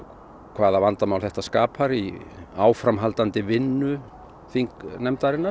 hvaða vandamál þetta skapar í áframhaldandi vinnu þingnefndarinnar